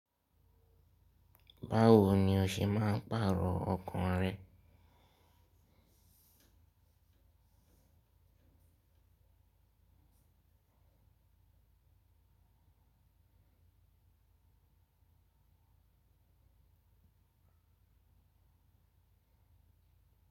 Báwoni o ṣe máa ń pàrọ̀ ọkan rẹ?